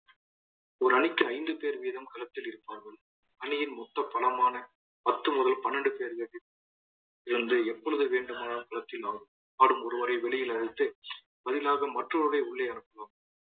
ஒரு அணிக்கு ஐந்து பேர் வீதம் களத்தில் இருப்பார்கள். அணியின் மொத்த பணமான பத்து முதல் பனிரெண்டு இது வந்து எப்பொழுது வேண்டுமானாலும் களத்தில் ஆடும் ஆடும் ஒருவரை வெளியில் அழைத்து பதிலாக மற்றவரை உள்ளே அனுப்பலாம்